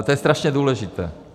A to je strašně důležité.